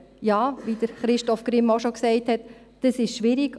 Ja, wie Christoph Grimm bereits gesagt hat, ist dies schwierig.